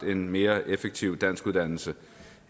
en mere effektiv danskuddannelse